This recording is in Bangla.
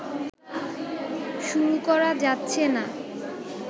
শুরু করা যাচ্ছে না